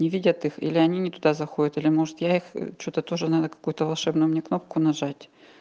не видят их или они не туда заходит или может я их что-то тоже надо какую-то волшебную мне кнопку нажать